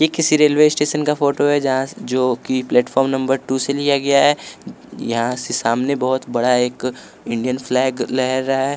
ये किसी railway station का फोटो है जहाँ जो कि प्लेटफार्म नंबर टू से लिया गया है यहाँ से सामने बहुत बड़ा एक इंडियन फ्लैग लहर रहा है।